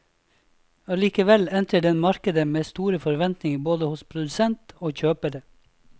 Allikevel entrer den markedet med store forventninger både hos produsent og kjøpere.